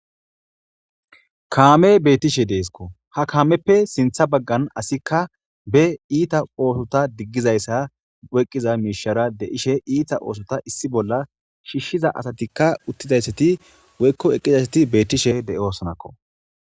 Kamey betishe de'esko , ha kameppe sinthe bagara ogeppe iita digizaysa oykiza Mishara de'ishe iita oothota issi bolla shiishiza asatika utidaysat woykko eqidaysat betishe de'osonako.